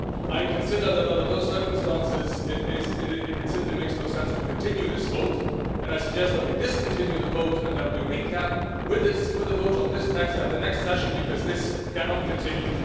I consider that under those circumstances it simply makes no sense to continue this vote and I suggest that we discontinue the vote and that we recap with a vote on this text at the next session, because this cannot continue.